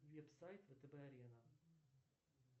веб сайт втб арена